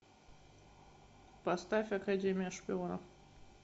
поставь академия шпионов